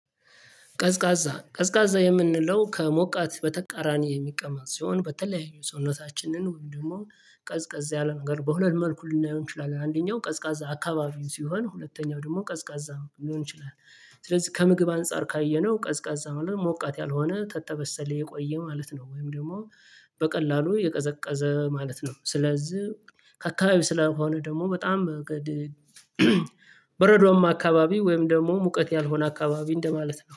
ቀዝቃዛ ቀዝቃዛ የምንለው ከሞቃት በተቃራኒ የሚቀመጥ ሲሆን በተለያዩ ሰውነታችንን ወይም ደግሞ ቀዝቃዛ ያለ ነገር በሁለት መልኩ ሊናየው ይችላል አንደኛው ቀዝቃዛ አካባቢው ሲሆን ሁለተኛው ደግሞ ቀዝቃዛ ሊሆን ይችላል። ስለዚህ ከምግብ አንፃር ካየነው ቀዝቃዛ ማለት ነው ሞቃት ያልሆነ ተተበሰለ የቆየ ማለት ነው። ወይም ደግሞ በቀላሉ የቀዘቀዘ ማለት ነው። ስለዝህ ከአካባቢ ስለሆነ ደግሞ በጣም በረዶማ አካባቢ ወይም ደግሞ ሙቀት ያልሆነ አካባቢ እንደማለት ነው